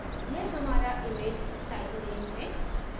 यह हमारा image style name है